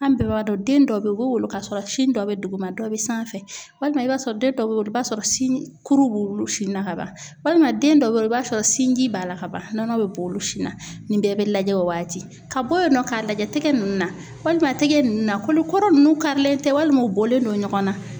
An bɛɛ b'a dɔn den dɔw bɛ yen u bɛ wolo k'a sɔrɔ sin dɔ be dugu ma dɔ bɛ sanfɛ walima i b'a sɔrɔ den dɔw bɛ yen i b'a sɔrɔ sin kuru b'olu na ka ban walima den dɔw bɛ yen i b'a sɔrɔ sinji b'a la ka ban bi bɔ olu si na nin bɛɛ bɛ lajɛ o waati ka bɔ yen nɔ k'a lajɛ tɛgɛ ninnu na walima a tɛgɛ ninnu na kolokɔrɔ ninnu karilen tɛ walima u bɔlen don ɲɔgɔn na.